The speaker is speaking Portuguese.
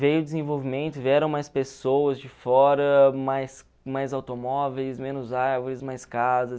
Veio o desenvolvimento, vieram mais pessoas de fora, mais mais automóveis, menos árvores, mais casas.